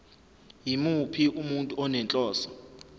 yimuphi umuntu onenhloso